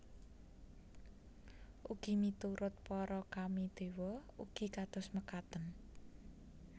Ugi miturut para Kami dewa ugi kados mekaten